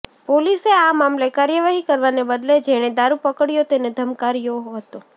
પોલીસે આ મામલે કાર્યવાહી કરવાને બદલે જેણે દારૂ પકડયો તેને ધમકાવ્યો હતો